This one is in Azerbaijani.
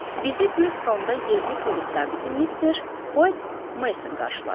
Bizi Burstonda yerli polis zabiti Mister White Meson qarşıladı.